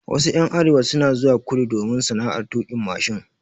Wasu ƴan arewa suna zuwa kudu domin sana'ar tuƙin mashin.